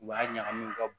U b'a ɲagami u ka